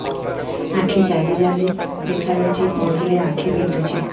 ଆଖି ଜାଲି ଜାଲି ଦେଖାଯାଉଛି ପଢିଲେ ଆଖି ବିନ୍ଧୁଛି